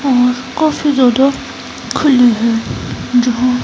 और काफी ज्यादा खुली है जहां--